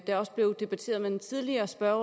der også blev debatteret med den tidligere spørger